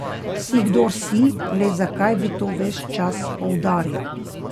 Si, kdor si, le zakaj bi to ves čas poudarjal.